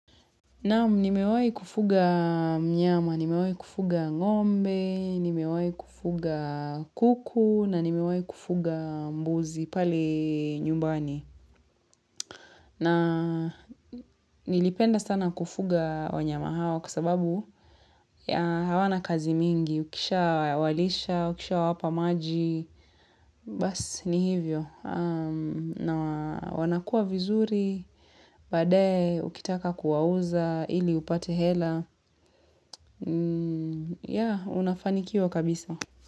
Naam nimewahi kufuga mnyama, nimewai kufuga ngombe, nimewai kufuga kuku, na nimewai kufuga mbuzi pale nyumbani. Na nilipenda sana kufuga wanyama hawa kwa sababu hawana kazi mingi, ukishawalisha, ukishawapa maji. Basi ni hivyo na wanakua vizuri baadae ukitaka kuwauza ili upate hela unafanikiwa kabisa.